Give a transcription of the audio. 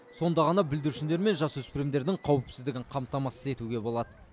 сонда ғана бүлдіршіндер мен жасөспірімдердің қауіпсіздігін қамтамасыз етуге болады